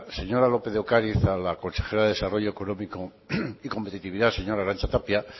señora lópez de ocariz a la consejera de desarrollo económico y competitividad señora arantza tapia